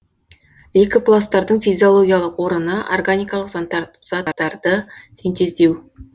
лейкопласттардың физиологиялық орыны органикалық заттарды синтездеу